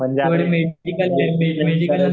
म्हणजे आपण बीएससी